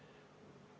Tänan arupärimise eest!